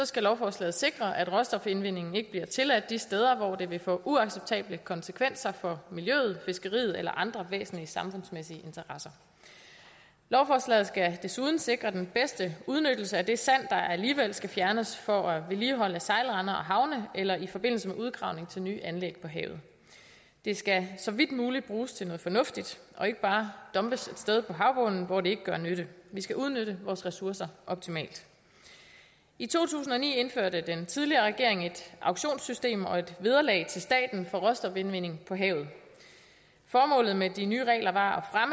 skal lovforslaget sikre at råstofindvindingen ikke bliver tilladt de steder hvor det vil få uacceptable konsekvenser for miljøet fiskeriet eller andre væsentlige samfundsmæssige interesser lovforslaget skal desuden sikre den bedste udnyttelse af det sand der alligevel skal fjernes for at vedligeholde sejlrender og havne eller i forbindelse med udgravningen til nye anlæg på havet det skal så vidt muligt bruges til noget fornuftigt og ikke bare dumpes et sted på havbunden hvor det ikke gør nytte vi skal udnytte vores ressourcer optimalt i to tusind og ni indførte den tidligere regering et auktionssystem og et vederlag til staten for råstofindvinding på havet formålet med de nye regler var